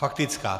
Faktická.